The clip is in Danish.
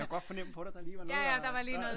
Jeg kunne godt fornemme på dig der lige var noget der